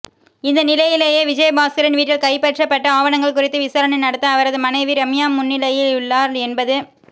இந்தநிலையிலேயே விஜயபாஸ்கரின் வீட்டில் கைப்பற்றப்பட்ட ஆவணங்கள் குறித்து விசாரணை நடத்த அவரது மனைவி ரம்யா முன்னிலையாகியுள்ளார் என்பது